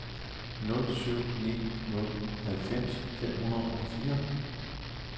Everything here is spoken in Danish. nul syv ni nul halvfems fem hundrede og fire